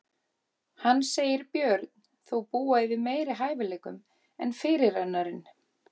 Hann segir Björn þó búa yfir meiri hæfileikum en fyrirrennarinn.